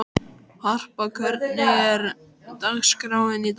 Harpa, hvernig er dagskráin í dag?